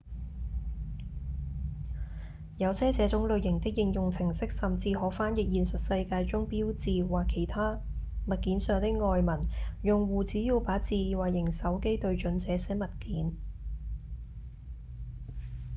有些這種類型的應用程式甚至可翻譯現實世界中標誌或其他物件上的外文用戶只要把智慧型手機對準這些物件